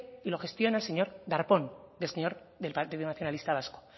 y lo gestiona el señor darpón del partido nacionalista vasco